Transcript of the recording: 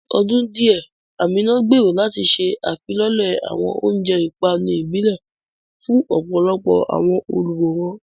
Ní ọdún díẹ̀, Amina gbèrò láti ṣe ìfilọ́lẹ̀ àwọn oúnjẹ ìpanu ìbílẹ̀ fún ọ̀pọ̀lọpọ̀ àwọn olùwòran.